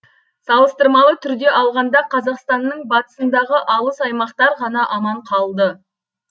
салыстырмалы түрде алғанда қазақстанның батысындағы алыс аймақтар ғана аман қалды